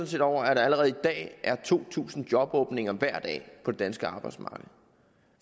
set over at der allerede i dag er to tusind jobåbninger hver dag på det danske arbejdsmarked